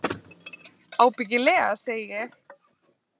Ábyggilega, segi ég.